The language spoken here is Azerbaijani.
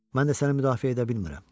Mən də səni müdafiə edə bilmirəm.